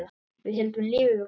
Við héldum lífi vegna hans.